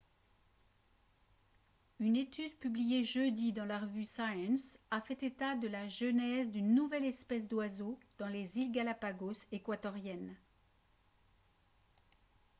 une étude publiée jeudi dans la revue science a fait état de la genèse d'une nouvelle espèce d'oiseau dans les îles galápagos équatoriennes